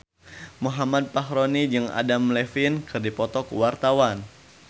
Muhammad Fachroni jeung Adam Levine keur dipoto ku wartawan